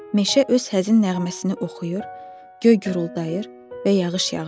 Meşə öz həzin nəğməsini oxuyur, göy güruldıyır və yağış yağırdı.